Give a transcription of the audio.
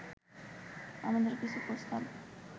আমাদের কিছু প্রস্তাব